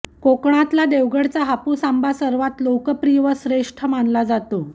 कोकणातला देवगडचा हापूस आंबा सर्वांत लोकप्रिय व श्रेष्ठ मानला जातो